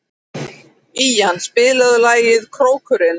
Ían, spilaðu lagið „Krókurinn“.